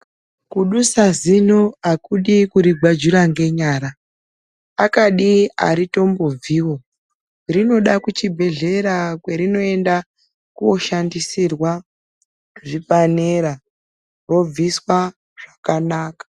Kudusa zino akudi kurigwajura ngenyara akadi aritombobviwo zvinoda kuchibhedhlera kwerinoenda koshandisirwa zvipanera robviswa zvakanaka.